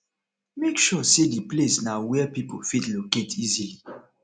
make sure sey di place na where pipo fit locate easily